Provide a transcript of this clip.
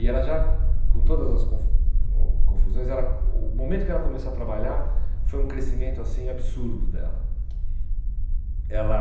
E ela já, com todas as confu confusões ela, o momento que ela começou a trabalhar foi um crescimento assim absurdo dela. Ela